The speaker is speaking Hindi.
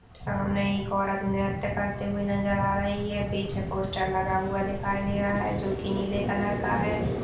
सामने एक औरत नृत्य करते हुए नज़र आ रही है पीछे पोस्टर लगा हुआ दिखाई दे रहा है जो कि नीले कलर का है।